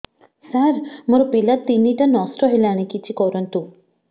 ସାର ମୋର ପିଲା ତିନିଟା ନଷ୍ଟ ହେଲାଣି କିଛି କରନ୍ତୁ